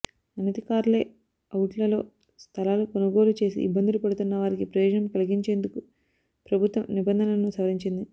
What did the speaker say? అనధికార లే అవుట్లలో స్థలాలు కొనుగోలు చేసి ఇబ్బందులు పడుతున్నవారికి ప్రయోజనం కలిగించేందుకే ప్రభుత్వం నిబంధనలను సవరించింది